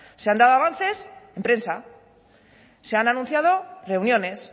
se han dado avances en prensa se han anunciado reuniones